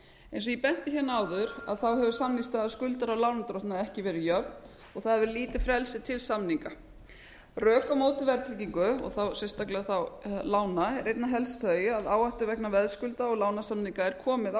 eins og ég benti hérna á áður þá hefur samningsstaða skuldara og lánardrottna ekki verið jöfn og það hefur lítið frelsi til samninga rök á móti verðtryggingu og þá sérstaklega þá lána eru einna helst þau að áhættu vegna veðskulda og lánasamninga er komið á skuldarann